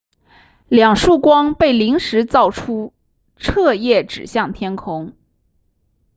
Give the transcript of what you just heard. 两束光被临时造出彻夜指向天空